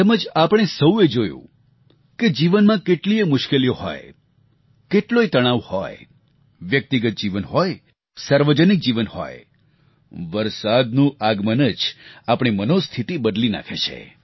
તેમજ આપણે સહુએ જોયું છે કે જીવનમાં કેટલીયે મુશ્કેલીઓ હોય કેટલોય તણાવ હોય વ્યક્તિગત જીવન હોય સાર્વજનિક જીવન હોય વરસાદનું આગમન જ આપણી મનોસ્થિતિ બદલી નાખે છે